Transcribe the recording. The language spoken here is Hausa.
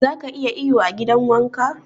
Zaka iya iyo a gidan wanka?